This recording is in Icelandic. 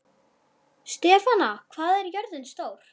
Stefana, hvað er jörðin stór?